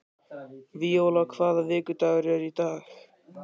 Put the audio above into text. Víóla, hvaða vikudagur er í dag?